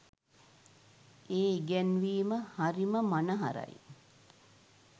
ඒ ඉගැන්වීම හරිම මනහරයි.